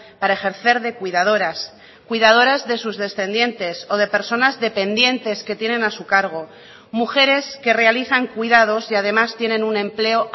para ejercer de cuidadoras cuidadoras de sus descendientes o de personas dependientes que tienen a su cargo mujeres que realizan cuidados y además tienen un empleo